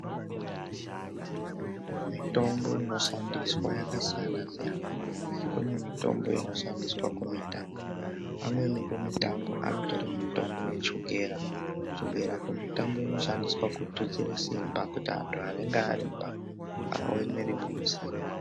Mitombo inoshandiswa yakasiyana siyana kune mitombo inoshandiswa kumutambo amweni kumutambo anotore mitombo yechukera, chukera kumutambo inoshandiswa kututsire simba kuiti antu anenge aremba aone imweni simba.